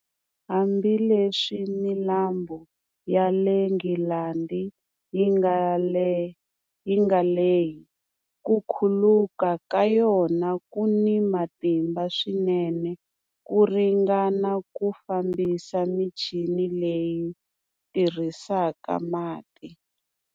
Hambileswi milambu ya le Nghilandhi yi nga lehi, ku khuluka ka yona ku ni matimba swinene, ku ringana ku fambisa michini leyi tirhisaka mati.